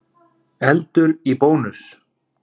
Eldur í Bónus